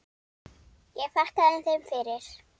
Ég þakkaði þeim fyrir.